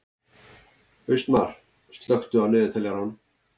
Austmar, slökktu á niðurteljaranum.